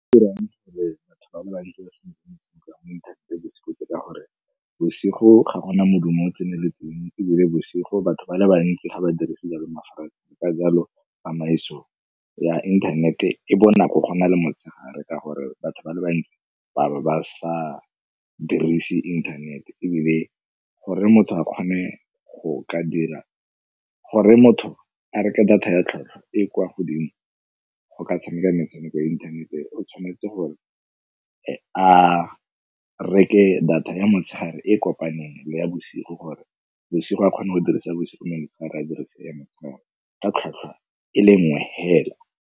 gore batho ba bantsi ba inthanete bosigo ke ka gore bosigo ga gona modumo o o tseneletseng ebile bosigo batho ba le bantsi ga ba dirise mafaratlhatlha ka jalo tsamaiso ya internet-e bonako gona le motshegare ka gore batho ba le bantsi ba bo ba sa dirise internet-e. Ebile gore motho a reke data ya tlhotlhwa e kwa godimo go ka tshameka metshameko ya inthanete o tshwanetse gore a reke data ya motshegare e e kopaneng le ya bosigo gore bosigo a kgone go dirisa bosigo, motshegare a dirisa ya motshegare ka tlhwatlhwa e le nngwe hela.